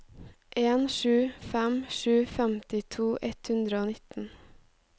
en sju fem sju femtito ett hundre og nitten